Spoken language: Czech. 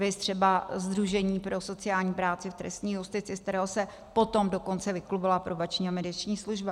Viz třeba Sdružení pro sociální práci v trestní justici, z kterého se potom dokonce vyklubala Probační a mediační služba.